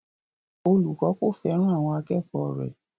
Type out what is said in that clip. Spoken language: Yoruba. Olùkọ́ kò fẹ́ràn àwọn akẹ́kọ̀ọ́ rẹ̀